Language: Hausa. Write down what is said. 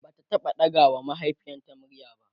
Bata taɓa ɗaga wa mahaifiyarta murya ba